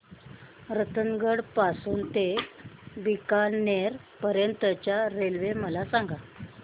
रतनगड पासून ते बीकानेर पर्यंत च्या रेल्वे मला सांगा